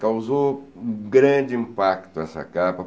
Causou um grande impacto essa capa.